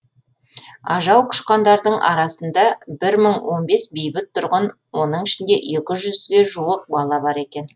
ажал құшқандардың арасында бір мың он бес бейбіт тұрғын оның ішінде екі жүз жуық бала бар екен